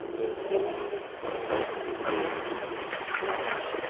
ये एक प्लेग्राउंड है जहां पर बच्चे खेल रहे हैं।